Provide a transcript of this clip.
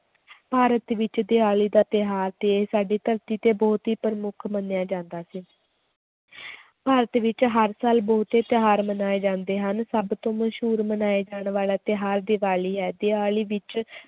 ਭਾਰਤ ਵਿੱਚ ਦੀਵਾਲੀ ਦਾ ਤਿਉਹਾਰ ਤੇ ਸਾਡੀ ਧਰਤੀ ਤੇ ਬਹੁਤ ਹੀ ਪ੍ਰਮੁੱਖ ਮੰਨਿਆ ਜਾਂਦਾ ਸੀ ਭਾਰਤ ਵਿੱਚ ਹਰ ਸਾਲ ਬਹੁਤੇ ਤਿਉਹਾਰ ਮਨਾਏ ਜਾਂਦੇ ਹਨ, ਸਭ ਤੋਂ ਮਸ਼ਹੂਰ ਮਨਾਏ ਜਾਣ ਵਾਲਾ ਤਿਉਹਾਰ ਦੀਵਾਲੀ ਹੈ ਦੀਵਾਲੀ ਵਿੱਚ